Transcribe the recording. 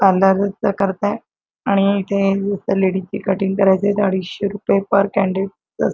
करतात आणि इथे लेडिज चे कटिंग करायचे अडीचशे रुपये पर --